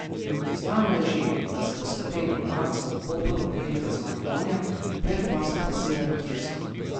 Znano je že, da se bo Slovenija marca v Kopru merila z Makedonijo, v Belfastu pa s Severno Irsko.